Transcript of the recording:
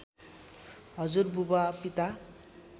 हजुरबुबा पिता